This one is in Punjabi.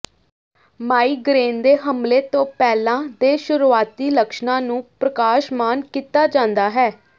ਮਾਈਗਰੇਨ ਦੇ ਹਮਲੇ ਤੋਂ ਪਹਿਲਾਂ ਦੇ ਸ਼ੁਰੂਆਤੀ ਲੱਛਣਾਂ ਨੂੰ ਪ੍ਰਕਾਸ਼ਮਾਨ ਕੀਤਾ ਜਾਂਦਾ ਹੈ